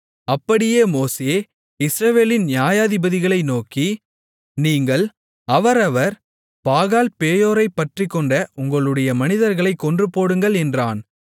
அப்படியே மோசே இஸ்ரவேலின் நியாயாதிபதிகளை நோக்கி நீங்கள் அவரவர் பாகால்பேயோரைப் பற்றிக்கொண்ட உங்களுடைய மனிதர்களைக் கொன்றுபோடுங்கள் என்றான்